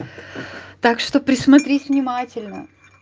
так что присмотрись внимательно